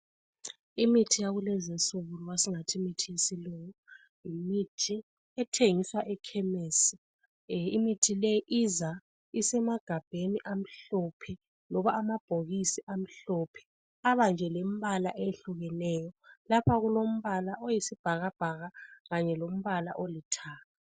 Imithi yakulezinsuku loba singathi imithi yesilungu yimithi ethengiswa ekhemisi imithi le iza isemagabheni amhlophe loba amabhokisi amhlophe abanje lembala ehlukeneyo lapha kulombala oyisibhakabhaka kanye lombala olithanga.